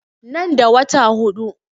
Nan da wata huɗu